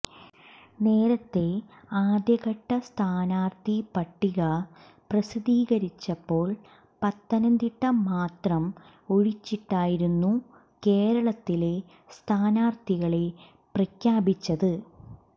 നേരത്തെ ആദ്യഘട്ട സ്ഥാനാർത്ഥി പട്ടിക പ്രസിദ്ധീകരിച്ചപ്പോൾ പത്തനംതിട്ട മാത്രം ഒഴിച്ചിട്ടായിരുന്നു കേരളത്തിലെ സ്ഥാനാർത്ഥികളെ പ്രഖ്യാപിച്ചത്